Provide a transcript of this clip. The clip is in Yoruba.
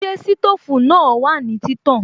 Ṣé sítòfù náà wà ní títàn?